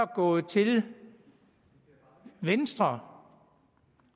gået til venstre